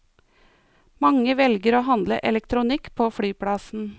Mange velger å handle elektronikk på flyplassen.